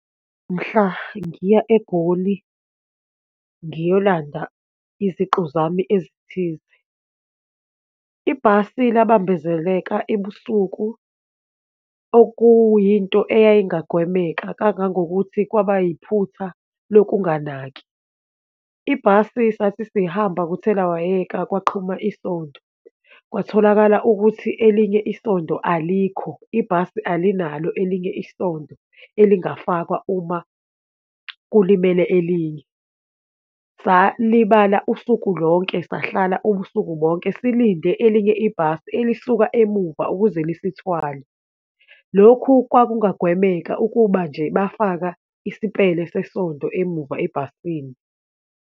Mhla ngiya eGoli ngiyolanda iziqu zami ezithize, ibhasi labambezeleka ebusuku, okuyinto eyayingagwemeka kangangokuthi kwaba yiphutha lokunganaki. Ibhasi sathi sihamba kuthelawayeka, kwaqhuma isondo, kwatholakala ukuthi elinye isondo alikho, ibhasi alinalo elinye isondo elingafakwa uma kulimele elinye. Salibala usuku lonke, sahlala ubusuku bonke, silinde elinye ibhasi elisuka emuva ukuze lisithwale. Lokhu kwakungagwemeka ukuba nje bafaka isipele sesondo emuva ebhasini.